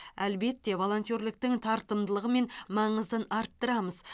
әлбетте волонтерліктің тартымдылығы мен маңызын арттырамыз